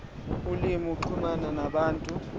ulimi ukuxhumana nabantu